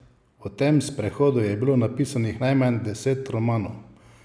O tem sprehodu je bilo napisanih najmanj deset romanov!